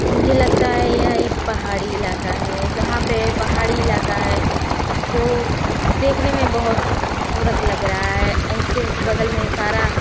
मुझे लगता है ये एक पहाड़ी इलाका है। जहाँ पे पहाड़ी इलाका है। इसको देखने में बहोत खुबसूरत लग रहा है। इससे के बगल में सारा --